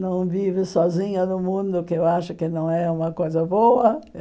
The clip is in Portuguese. Não vive sozinha no mundo, que eu acho que não é uma coisa boa.